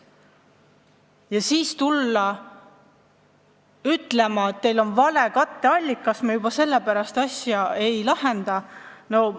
Ja siis tullakse ütlema, et teil on vale katteallikas, me juba sellepärast teie ettepanekut ei arvesta.